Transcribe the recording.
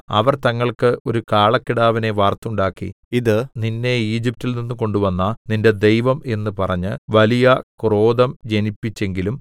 അവർ തങ്ങൾക്ക് ഒരു കാളക്കിടാവിനെ വാർത്തുണ്ടാക്കി ഇത് നിന്നെ ഈജിപ്റ്റിൽ നിന്ന് കൊണ്ടുവന്ന നിന്റെ ദൈവം എന്ന് പറഞ്ഞ് വലിയ ക്രോധം ജനിപ്പിച്ചെങ്കിലും